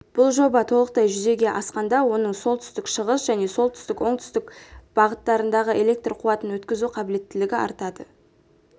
бұл жоба толықтай жүзеге асқанда оның солтүстік-шығыс және солтүстік-оңтүстік бағыттарындағы электр қуатын өткізу қабілеттілігі артады